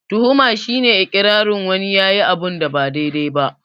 Tuhuma shi ne iƙirarin wani yayi abunda ba daidai ba